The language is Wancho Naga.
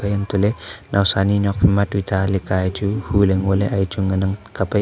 antoh ley naosa ni nokphai matuita leka a chu hu ley ngo le he a chu ngan ang kap ang.